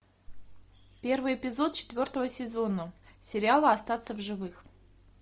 первый эпизод четвертого сезона сериала остаться в живых